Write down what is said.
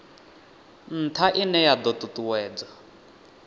ntha ine ya do tutuwedza